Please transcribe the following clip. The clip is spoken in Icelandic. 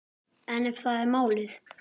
En ef það er málið?